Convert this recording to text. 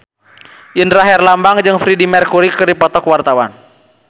Indra Herlambang jeung Freedie Mercury keur dipoto ku wartawan